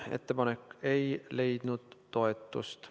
Ettepanek ei leidnud toetust.